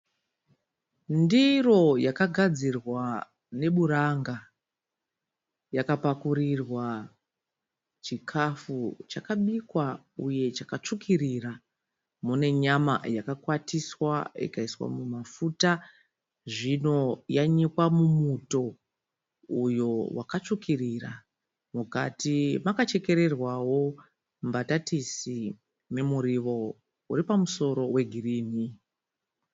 Ndiro yakagadzirwa neburanga . Yakapakurirwa chikafu chakabikwa uye chakatsvukirira . Mune nyama yakakwatiswa ikaiswa mumafuta zvino yanyikwa mumuto uyo wakatsvukirira. Mukati makachekererwawo mbatatisi nemuriwo uripamusoro wegirini.